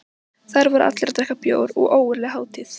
Þar voru allir að drekka bjór og ógurleg hátíð.